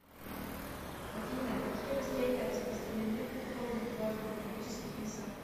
афина какие растения распространены в горных влажных тропических лесах